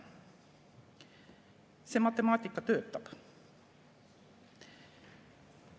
See matemaatika töötab.